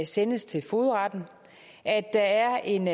sendes til fogedretten at der er en